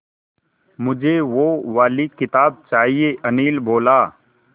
मुझे वो वाली किताब चाहिए अनिल बोला